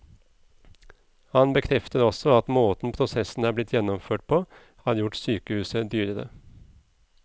Han bekrefter også at måten prosessen er blitt gjennomført på, har gjort sykehuset dyrere.